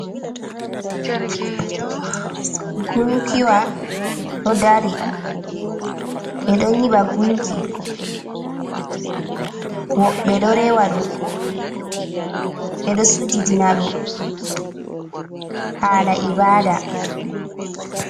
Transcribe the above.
Gunkiwa ɗo dari. Ɓe ɗo nyiɓa gunki, woɓɓe ɗo rewa ɗum, ɓe ɗo sujidina ɗum haala ibaada.